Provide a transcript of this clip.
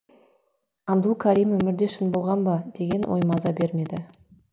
абдул карим өмірде шын болған ба деген ой маза бермеді